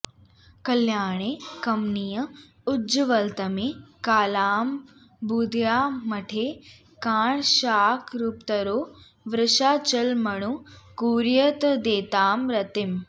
कल्याणे कमनीय उज्ज्वलतमे कालाम्बुदश्यामळे काङ्क्षाकरुपतरौ वृषाचलमणौ कुर्यात्कदैतां रतिम्